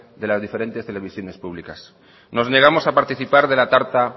de las diferentes televisiones públicas nos negamos a participar de la tarta